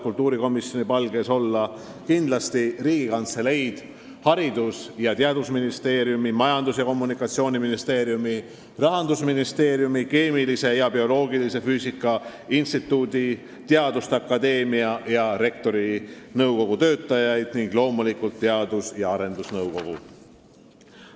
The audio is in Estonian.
Kindlasti tänan inimesi Riigikantseleist, Haridus- ja Teadusministeeriumist, Majandus- ja Kommunikatsiooniministeeriumist, Rahandusministeeriumist, Keemilise ja Bioloogilise Füüsika Instituudist ning Eesti Teaduste Akadeemiast, samuti Rektorite Nõukogust ning loomulikult Teadus- ja Arendusnõukogust.